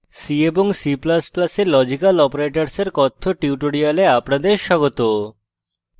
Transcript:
c এবং c ++ এ logical অপারেটরসের কথ্য tutorial আপনাদের স্বাগত